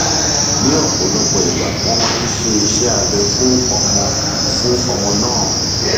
ní ọpọlọpọ ìgbà wọn máa ṣe iṣẹ abẹ fún ọmọ fún ọmọ náà